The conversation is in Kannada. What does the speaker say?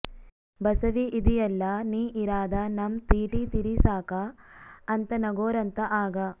ಬಸವೀ ಇದೀಯಲ್ಲ ನೀ ಇರಾದ ನಮ್ ತೀಟಿ ತೀರಿಸಾಕ ಅಂತ ನಗೋರಂತ ಆಗ